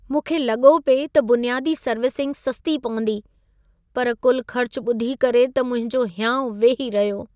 मुंखे लॻो पिए त बुनियादी सर्विसिंग सस्ती पवंदी, पर कुल ख़र्च ॿुधी करे त मुंहिंजो हियाउं वेही रहियो।